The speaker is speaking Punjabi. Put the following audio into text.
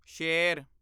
ਸ਼ੇਰ